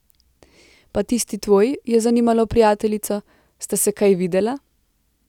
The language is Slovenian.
Pa tisti tvoj, je zanimalo prijateljico, sta se kaj videla?